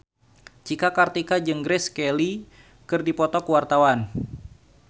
Cika Kartika jeung Grace Kelly keur dipoto ku wartawan